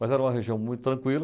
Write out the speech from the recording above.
Mas era uma região muito tranquila.